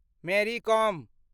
Mary com